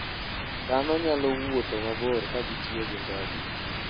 Dhano nyalo wuotho mabor ka gitiyo gi ndege.